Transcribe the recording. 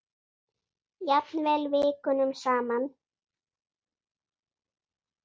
Jafnvel vikunum saman.